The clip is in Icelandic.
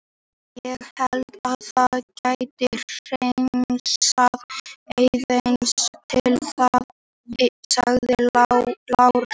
Ég held að það geti hreinsað aðeins til í þessu, sagði Lars.